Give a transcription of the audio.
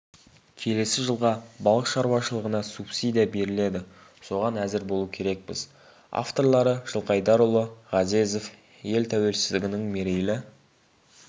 келесі жылға балық шаруашылығына субсидия беріледі соған әзір болу керекпіз авторлары жылқайдарұлы ғазезов ел тәуелсіздігінің мерейлі